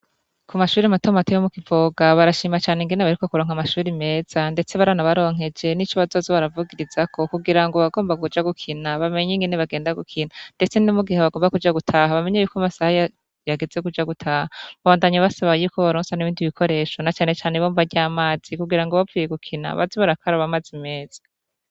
Kumashure matomato yo mukivoga barashima ingene baheruka kuronka amashure meza ndetse baranabaronkeje nico bazoza baravugirizako kugira bagomba baje gukina bamenye ingene bagenda gukina ndetse nomugihe bagumba kuka gutaha bamenyo amasaha yageze yokuja gutaha. Babandanya basaba ko bobarosa n'ibindi bikoresho nacanecane ibombo ry'amazi kugirango bavuye gukina baze barakaraba amazi meza.